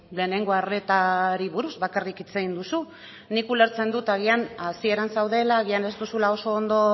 lehenengo arretari buruz bakarrik hitz egin duzu nik ulertzen dut agian hasieran zaudela agian ez duzula oso ondo